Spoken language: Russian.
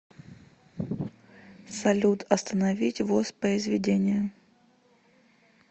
салют остановить воспоизведение